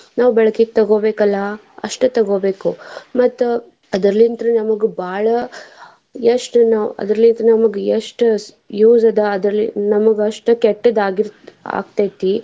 ನಾವ್ ಬಳಕೆಗೆ ತಗೋಬೇಕಲ್ಲಾ ಅಷ್ಟೇ ತಗೋಬೇಕು ಮತ್ತ್ ಅದ್ರಲಿಂತ್ರ ನಮ್ಗ್ ಬಾಳ ಎಷ್ಟ್ ನಾವ್ ಅದ್ರಲಿಂತ ನಮ್ಗ್ ಎಷ್ಟ್ use ಅದ್ರಲಿಂದ ನಮ್ಗ್ ಅಷ್ಟ್ ಕೆಟ್ಟದ್ ಆಗಿರತೈತಿ.